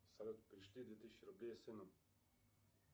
салют перешли две тысячи рублей сыну